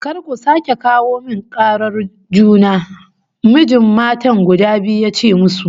"Kar ku sake kawo min karar juna!" Mijin matan guda biyu ya ce musu